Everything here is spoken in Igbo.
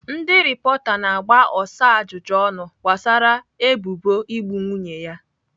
Ndị rịpọta na-agba Osai ajụjụ ọnụ gbasara ebubo igbu nwunye ya.